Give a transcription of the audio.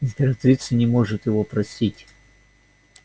императрица не может его простить